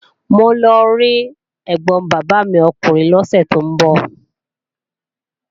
Mò ń lọ rí ẹ̀gbọ̀n bàbá mi ọkùnrin lọ́sẹ̀ tó ń bọ̀